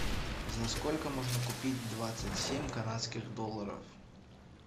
за сколько можно купить двадцать семь канадских долларов